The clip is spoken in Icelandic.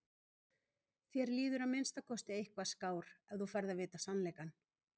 Þér líður að minnsta kosti eitthvað skár ef þú færð að vita sannleikann.